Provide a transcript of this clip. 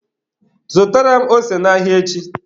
Zụtara m ose n'ahịa echi